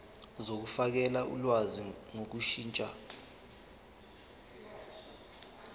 zokufakela ulwazi ngokushintsha